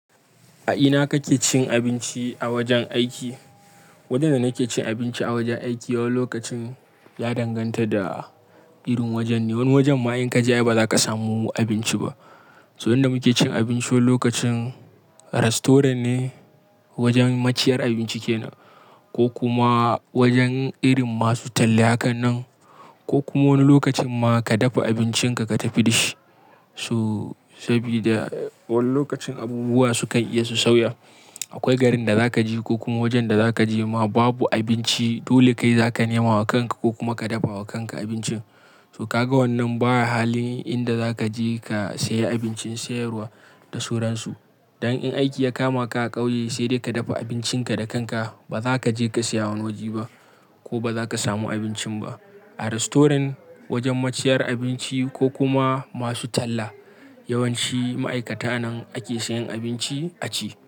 A ina kake cin abinci a wajen aiki? Wajen da nake cin abinci a wajen aiki, wani lokacin ya danganta da irin wajen ne. Wani wajen ma in ka je ba za ka samu abinci ba. So inda muke cin abinci, wani lokacin rasturant ne, wajen maciyar abinci ke nan ko kuma wajen irin masu talla hakan nan ko kuma wani lokacin ma ka dafa abincinka ka tafi dish. So sabida wani lokacin abubuwa su kan iya su sauya. Akwai garin da za ka je ko kuma wajen da za ka je ma babu abinci, dole kai za ka nema wa kanka ko kuma ka dafa wa kanka abinci. To ka ga wannan baya halin inda za ka je ka saya abincin sayarwa da sauransu. Dan in aiki ya kama ka a ƙauye, sai dai ka dafa abincinka da kanka. Ba zaka je ka siya a wani waje ba, kuma ba zaka samu abincin ba A rastoran, wajen maciyar abinci ko kuma masu talla, yawanci ma'aikata nan ake sayan abinci a ci.